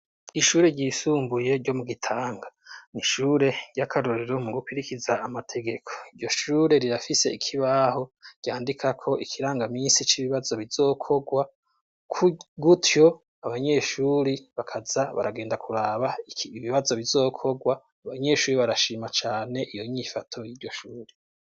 Ishure ryisumbuye ryo mugitanga n'ishure ry'akarorero mugukirikiza amategeko. Iryoshure rirafise ikibaho ryandikako, ikirangaminsi c'ibibazo bizokogwa ku gutyo abanyeshure bakaza baragenda kuraba ibibazo bizokogwa. Abanyeshure barashima cane iyonyifato y'iryoshure.